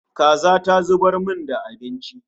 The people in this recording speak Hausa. Kaza ta zubar min da abinci